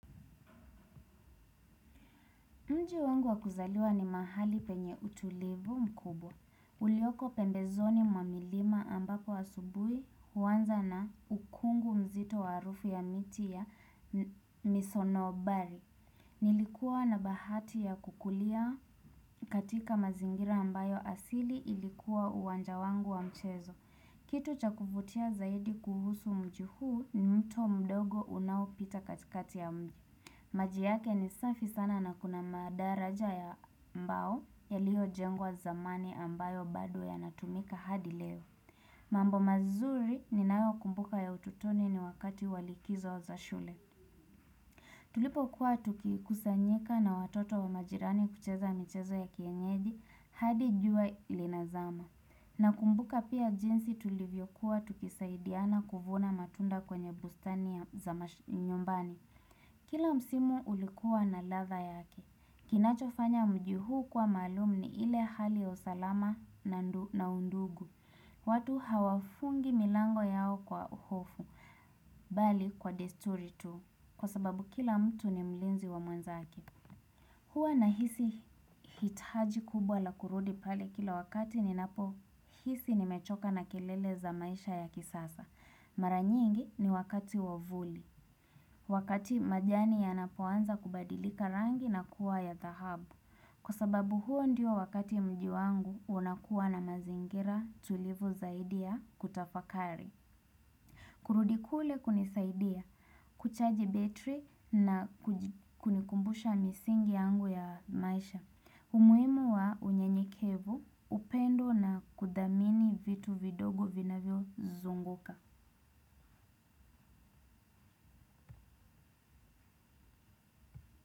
Mji wangu wa kuzaliwa ni mahali penye utulivu mkubwa. Ulioko pembezoni mamilima ambako asubui huanza na ukungu mzito wa harufu ya miti ya misonobari. Nilikuwa na bahati ya kukulia katika mazingira ambayo asili ilikuwa uwanja wangu wa mchezo. Kitu cha kuvutia zaidi kuhusu mji huu ni mto mdogo unaopita katikati ya mji. Maji yake ni safi sana na kuna madaraja ya mbao yaliyo jengwa zamani ambayo bado yanatumika hadi leo. Mambo mazuri ninayo kumbuka ya ututoni ni wakati wa likizo za shule. Tulipo kuwa tukikusanyika na watoto wa majirani kucheza michezo ya kienyeji hadi jua linazama. Nakumbuka pia jinsi tulivyokuwa tukisaidiana kuvuna matunda kwenye bustani za nyumbani. Kila msimu ulikuwa na ladha yake. Kinachofanya mji huu kuwa maalumni ile hali ya usalama na undugu. Watu hawafungi milango yao kwa uhofu. Bali kwa desturi tu. Kwa sababu kila mtu ni mlinzi wa mwenzake. Hua nahisi hitaji kubwa la kurudi pale kila wakati ninapo hisi nimechoka na kelele za maisha ya kisasa. Mara nyingi ni wakati wa vuli. Wakati majani yanapoanza kubadilika rangi na kuwa ya dhahabu kwa sababu huo ndiyo wakati mji wangu unakuwa na mazingira tulivu zaidi ya kutafakari. Kurudi kule kunisaidia, kuchaji battery na kunikumbusha misingi yangu ya maisha. Umuhimu wa unyenyekevu, upendo na kudhamini vitu vidogo vinavyo zunguka.